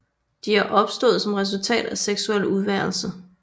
De er opstået som resultat af seksuel udvælgelse